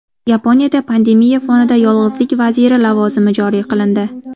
Yaponiyada pandemiya fonida yolg‘izlik vaziri lavozimi joriy qilindi.